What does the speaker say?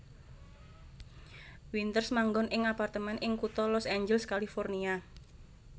Winters manggon ing apartemen ing kutha Los Angeles California